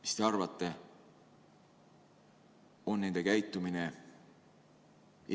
Mis te arvate, kas nende käitumine on